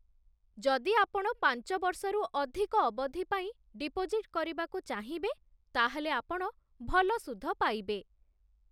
ଯଦି ଆପଣ ପାଞ୍ଚ ବର୍ଷରୁ ଅଧିକ ଅବଧି ପାଇଁ ଡିପୋଜିଟ୍ କରିବାକୁ ଚାହିଁବେ, ତା'ହେଲେ ଆପଣ ଭଲ ସୁଧ ପାଇବେ ।